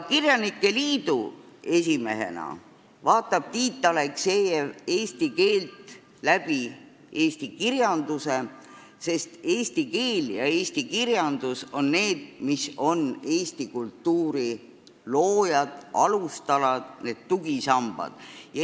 Kirjanike liidu esimehena vaatab Tiit Aleksejev eesti keelt läbi eesti kirjanduse, sest eesti keel ja kirjandus on eesti kultuuri loojad, alustalad, tugisambad.